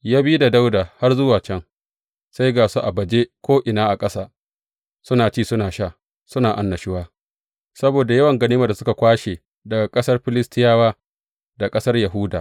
Ya bi da Dawuda har zuwa can, sai ga su a baje ko’ina a ƙasa, suna ci, suna sha, suna annashuwa saboda yawan ganimar da suka kwashe daga ƙasar Filistiyawa da ƙasar Yahuda.